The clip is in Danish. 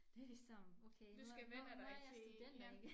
Det ligesom okay nu nu er jeg studenter igen